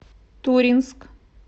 туринск